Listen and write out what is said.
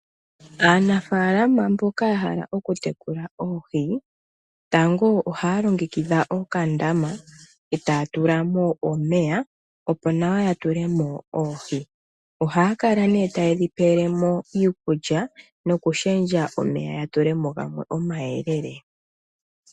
Aanafaalama mboka ya hala oku tekula oohi, tango ohaya longekidha okandama etaya tulamo omeya opo nawa ya tulemo oohi. Ohaya kala nee tayedhi pelemo iikulya no kushendja omeya, ya tulemo gamwe omayelele